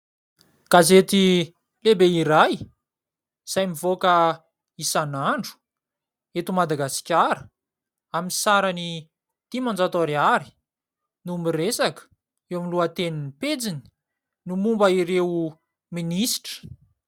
Gazety lehibe iray izay mivoaka isanandro eto Madagasikara, amin'ny sarany dimanjato ariary no miresaka eo amin'ny lohatenin'ny pejiny ny momba ireo minisitra.